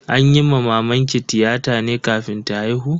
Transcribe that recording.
An yi wa mamanki tiyata ne kafin ta haihu?